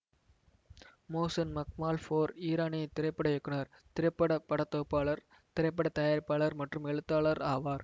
Mohsen Makhmalbaf ஓர் ஈரானிய திரைப்பட இயக்குனர் திரைப்பட படத்தொகுப்பாளர் திரைப்பட தயாரிப்பாளர் மற்றும் எழுத்தாளர் ஆவார்